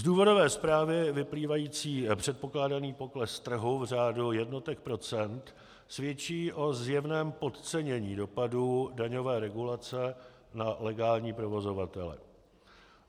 Z důvodové zprávy vyplývající předpokládaný pokles trhu v řádu jednotek procent svědčí o zjevném podcenění dopadů daňové regulace na legální provozovatele.